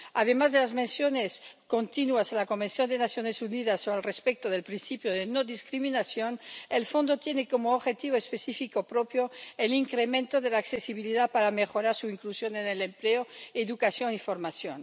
Además de las menciones continuas en la Convención de las Naciones Unidas o del respeto del principio de no discriminación, el fondo tiene como objetivo específico propio el incremento de la accesibilidad para mejorar su inclusión en el empleo, la educación y la formación.